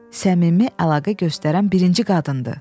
Səmimi əlaqə göstərən birinci qadındır.